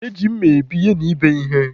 E ji mma ebi yana ịbe ihe.